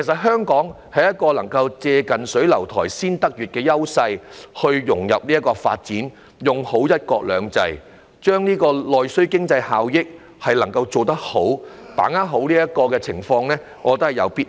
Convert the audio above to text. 香港享有"近水樓台先得月"的優勢，有必要融入區域發展，利用"一國兩制"的優勢，好好把握內需經濟帶來的效益。